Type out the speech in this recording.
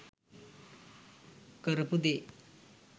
කරපු දේ.